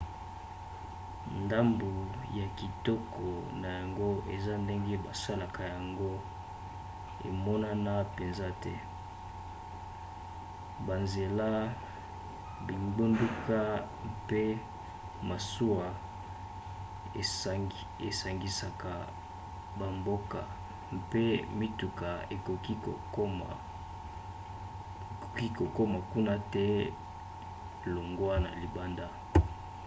ndambu ya kitoko na yango eza ndenge basalaka yango emonana mpenza te. banzela bingbunduka mpe masuwa esangisaka bamboka mpe mituka ekoki kokoma kuna te longwa na libanda